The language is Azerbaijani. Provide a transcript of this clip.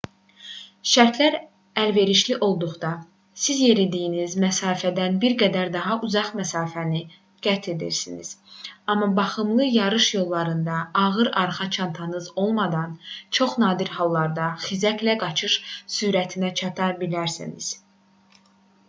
şərtlər əlverişli olduqda siz yeridiyiniz məsafədən bir qədər daha uzaq məsafəni qət edərsiniz amma baxımlı yarış yollarında ağır arxa çantanız olmadan çox nadir hallarda xizəklə qaçış sürətinə çata bilərsiniz